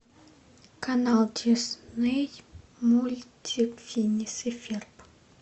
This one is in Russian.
канал дисней мультик финес и ферб